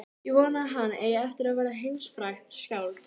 Ég vona að hann eigi eftir að verða heimsfrægt skáld.